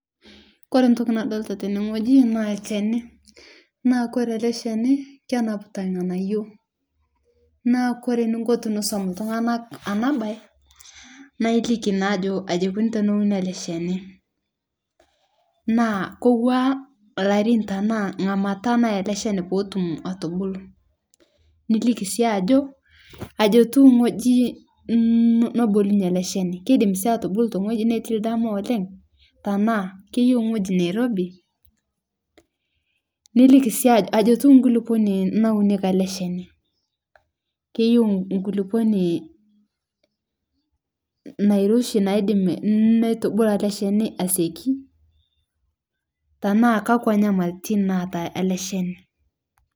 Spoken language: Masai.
Kore ntoki nadolita teneng'oji naa lkenii naa kore alesheni, naa kenapita ng'anayoo naa kore ninko tinisum tung'anaa anabayie naa iliki naa ajo ajiekuni teneuni alesheni , naa kowua larin tanaa ng'amata nayaa ale shenii potum atubulo niliki sii ajo ajotuwu ng'oji nobulunye alesheni kedim sii atubolu teng'oji netii ldamaa oleng' tanaa keyeu ng'oji neirobi, niliki sii ajo ajotuu nguluponi nauneki alesheni keyeu ng'uluponi nairoshi naidem neitubolo asieki tanaa kakua nyamalitin naata aleshani.